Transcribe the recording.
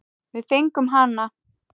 Við fengum hana!